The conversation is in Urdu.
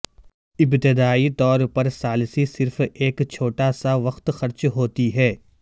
ابتدائی طور پر ثالثی صرف ایک چھوٹا سا وقت خرچ ہوتی ہے